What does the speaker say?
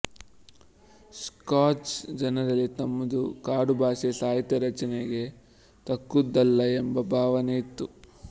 scotch ಜನರಲ್ಲಿ ತಮ್ಮದು ಕಾಡುಭಾಷೆ ಸಾಹಿತ್ಯರಚನೆಗೆ ತಕ್ಕುದಲ್ಲ ಎಂಬ ಭಾವನೆ ಇತ್ತು